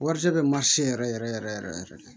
Warijɛ bɛ yɛrɛ yɛrɛ yɛrɛ yɛrɛ yɛrɛ de